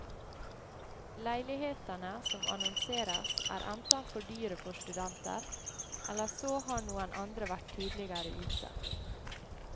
Leilighetene som annonseres er enten for dyre for studenter, eller så har noen andre vært tidligere ute.